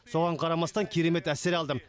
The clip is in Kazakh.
соған қарамастан керемет әсер алдым